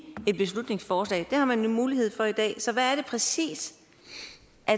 et beslutningsforslag det har man jo mulighed for i dag så hvad er det præcis